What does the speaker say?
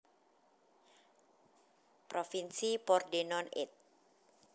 Provinsi Pordenone It